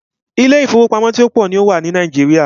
Ilé ìfọwọ́pamo tó pọ̀ ní o wà ní Nàìjíríà.